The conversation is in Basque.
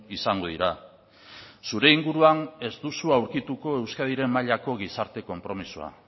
izango dira zure inguruan ez duzu aurkituko euskadiren mailako gizarte konpromisoa